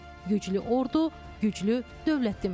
Güclü ordu, güclü dövlət deməkdir.